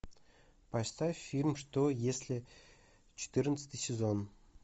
поставь фильм что если четырнадцатый сезон